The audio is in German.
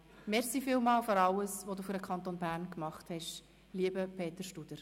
Vielen Dank für alles, was du für den Kanton Bern gemacht hast, lieber Peter Studer.